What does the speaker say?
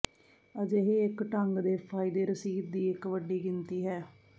ਅਜਿਹੇ ਇੱਕ ਢੰਗ ਦੇ ਫਾਇਦੇ ਰਸੀਦ ਦੀ ਇੱਕ ਵੱਡੀ ਗਿਣਤੀ ਹੈ